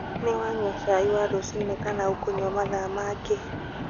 Nĩ wanyua cai wa rũcinĩ kana ukũnywa mathaa mangĩ?